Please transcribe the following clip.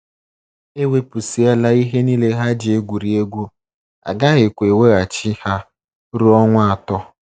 E wepụsịala ihe nile ha ji egwurị egwu, a gaghịkwa eweghachi ha ruo ọnwa atọ.